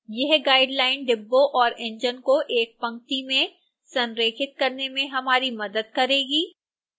यह guideline डिब्बों और इंजन को एक पंक्ति में संरेखित करने में हमारी मदद करेगी